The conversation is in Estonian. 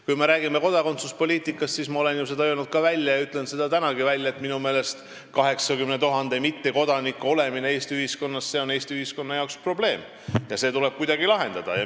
Kui me räägime kodakondsuspoliitikast, siis ma olen seda välja öelnud ja ütlen tänagi, et minu meelest 80 000 mittekodanikku Eesti ühiskonnas on probleem ja see tuleb kuidagi lahendada.